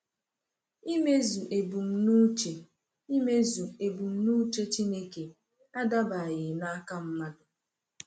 Imezu ebumnuche Imezu ebumnuche Chineke adabaghị n’aka mmadụ.